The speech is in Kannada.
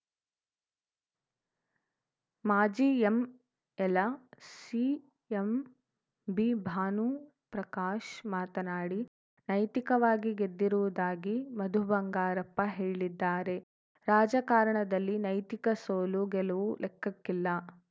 ಮಾಜಿ ಎಂಎಲ ಸಿ ಎಂಬಿಭಾನುಪ್ರಕಾಶ್‌ ಮಾತನಾಡಿ ನೈತಿಕವಾಗಿ ಗೆದ್ದಿರುವುದಾಗಿ ಮಧು ಬಂಗಾರಪ್ಪ ಹೇಳಿದ್ದಾರೆ ರಾಜಕಾರಣದಲ್ಲಿ ನೈತಿಕ ಸೋಲು ಗೆಲುವು ಲೆಕ್ಕಕ್ಕಿಲ್ಲ